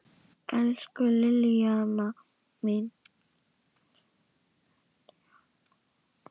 Elsku Liljan mín.